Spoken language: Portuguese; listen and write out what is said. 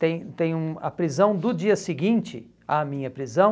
Tem tem um a prisão do dia seguinte à minha prisão.